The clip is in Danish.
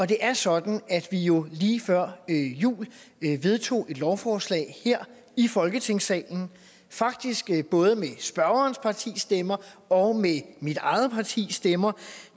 det er sådan at vi jo lige før jul vedtog et lovforslag her i folketingssalen faktisk både med spørgerens partis stemmer og med mit eget partis stemmer